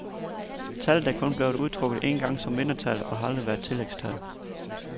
Tallet er kun blevet udtrukket en gang som vindertal og har aldrig været tillægstal.